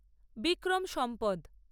বিক্রম সম্পদ